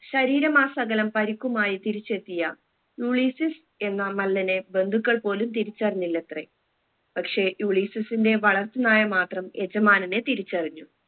ശരീരമാസകലം പരിക്കുമായി തിരിച്ചെത്തിയ യുളീസിസ് എന്ന മല്ലനെ ബന്ധുക്കൾ പോലും തിരിച്ചറിഞ്ഞില്ലത്രെ പക്ഷെ യുളീസിസിന്റെ വളർത്തു നായ മാത്രം യജമാനനെ തിരിച്ചറിഞ്ഞു